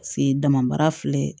Se dama baara filɛ